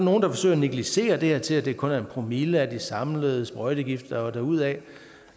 nogle der forsøger at negligere det her til at det kun er en promille af de samlede sprøjtegifte og derudad